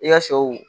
I ka sɛw